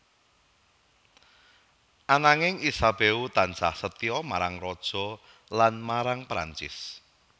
Ananging Isabeau tansah setya marang Raja lan marang Prancis